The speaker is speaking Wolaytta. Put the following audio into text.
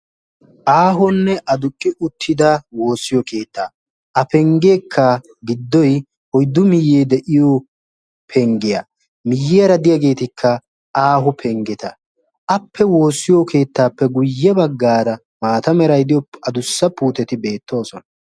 Ahonne aduqqi uttida woossiyo keetta, a pengekka giddoy oyddu miyee de'iyo pengiyaa miyiyara de'yagettikka aaho pengetta, appe woosiyoo keettappe guye bagara maatta meray de'iyoo adussa puutteti beettosona.